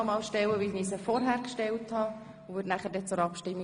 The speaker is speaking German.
Ich stelle Ihnen die Frage noch einmal und komme danach zur Abstimmung.